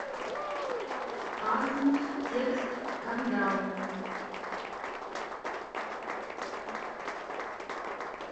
асмус текст скандал